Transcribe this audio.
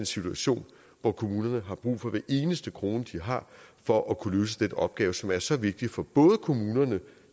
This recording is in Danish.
situation hvor kommunerne har brug for hver eneste krone de har for at kunne løse den opgave som er så vigtig for kommunerne